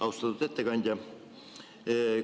Austatud ettekandja!